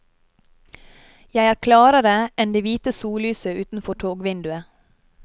Jeg er klarere enn det hvite sollyset utenfor togvinduet.